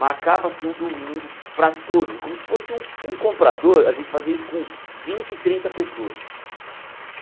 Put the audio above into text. Marcava-se um domingo para todos, é como se fosse um um comprador, a gente fazia isso com vinte, trinta pessoas.